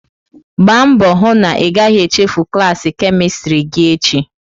Gbaa mbọ hụ na ị gaghị echefu klaasị kemistri gị echi!